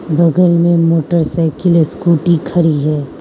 बगल में motor cycle scooty खड़ी है।